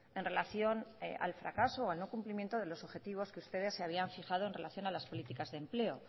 en relación al fracaso o al no cumplimiento de los objetivos que ustedes se habían fijado en relación a las políticas de empleo